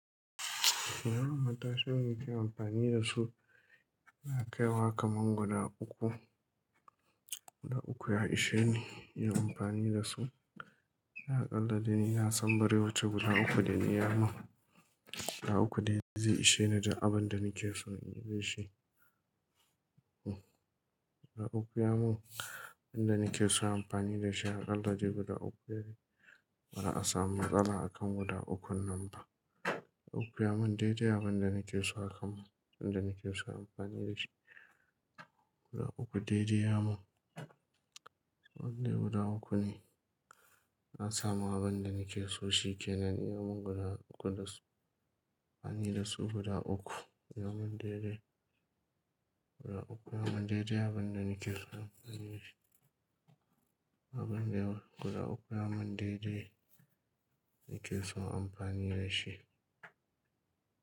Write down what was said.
Irin matashin da nake amfani da su, yana kaiwa kaman guda uku. Guda uku ya isheni yin amfani da su. Ya akalla dai ni na san bare wacce guda uku da ni ya mun. Guda uku dai zai isheni da abin da nake so in yi da shi. Hm. Guda uku ya mun, abin da nake so amfani da shi. Akalla dai guda uku yayi. Ba'a samu matsala a kan guda ukun nan ba. Guda uku ya mun daidai abin da nake so a kan mu, abin da nake so amfani da shi. Guda uku daidai ya mun. Wannan guda uku ne. Na samu abin da nake so shi ke nan. Ya mun guda uku da amfani da su guda uku. Ya mun daidai. Guda uku ya mun daidai abin da nake so amfani da shi. Abin yawa, guda uku ya mun daidai, nake son amfani da shi.